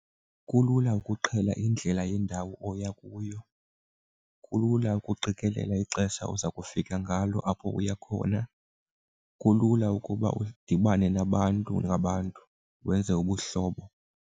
Kulula ukuqhela indlela yendawo oya kuyo, kulula ukuqikelela ixesha oza kufika ngalo apho uya khona, kulula ukuba udibane nabantu ngabantu wenze ubuhlobo.